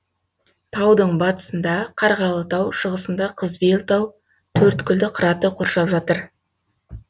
таудың батысында қарғалытау шығысында қызбелтау төрткілді қыраты қоршап жатыр